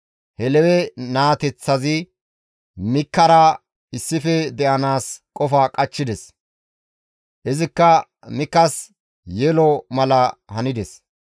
He Lewe naateththazi Mikiyaasara issife de7anaas qofa qachchides; izikka Mikiyaasas yelo mala hanides.